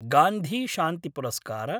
गान्धीशान्तिपुरस्कार